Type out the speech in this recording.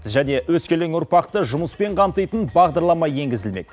және өскелең ұрпақты жұмыспен қамтитын бағдарлама енгізілмек